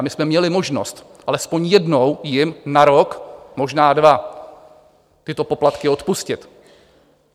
A my jsme měli možnost alespoň jednou jim na rok, možná dva tyto poplatky odpustit.